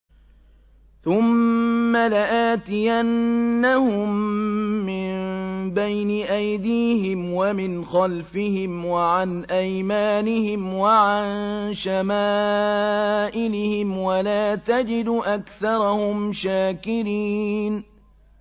ثُمَّ لَآتِيَنَّهُم مِّن بَيْنِ أَيْدِيهِمْ وَمِنْ خَلْفِهِمْ وَعَنْ أَيْمَانِهِمْ وَعَن شَمَائِلِهِمْ ۖ وَلَا تَجِدُ أَكْثَرَهُمْ شَاكِرِينَ